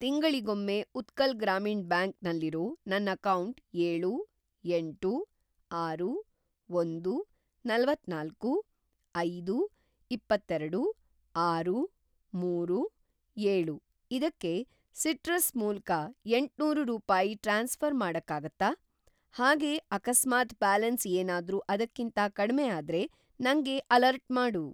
ತಿಂಗಳಿಗೊಮ್ಮೆ ಉತ್ಕಲ್‌ ಗ್ರಾಮೀಣ್‌ ಬ್ಯಾಂಕ್ ನಲ್ಲಿರೋ ನನ್ ಅಕೌಂಟ್‌ ಏಳು, ಎಂಟು, ಆರು, ಒಂದು, ನಲವತ್ತನಾಲ್ಕು, ಐದು, ಇಪ್ಪತ್ತೇರಡು, ಆರು, ಮೂರು, ಏಳು ಇದಕ್ಕೆ ಸಿಟ್ರಸ್ ಮೂಲ್ಕ ಎಂಟ್ನೂರು ರೂಪಾಯಿ ಟ್ರಾನ್ಸ್‌ಫ಼ರ್‌ ಮಾಡಕ್ಕಾಗತ್ತಾ? ಹಾಗೇ ಅಕಸ್ಮಾತ್‌ ಬ್ಯಾಲೆನ್ಸ್‌ ಏನಾದ್ರೂ ಅದಕ್ಕಿಂತ ಕಡಿಮೆ ಆದ್ರೆ ನಂಗೆ ಅಲರ್ಟ್‌ ಮಾಡು.